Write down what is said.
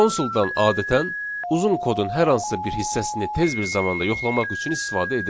Konsoldan adətən uzun kodun hər hansısa bir hissəsini tez bir zamanda yoxlamaq üçün istifadə edirlər.